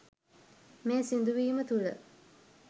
මේ සිදුවීම තුළ